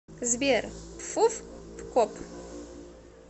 сбер пфуфпкоп